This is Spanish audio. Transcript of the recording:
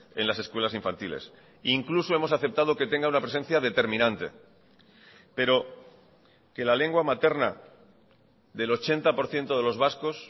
en las escuelas infantiles incluso hemos aceptado que tenga una presencia determinante pero que la lengua materna del ochenta por ciento de los vascos